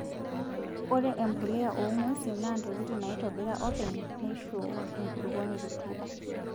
Ore empuliya oo ng'wesin naa ntokitin naitobira oopeny neisho enkulukuoni rutuba.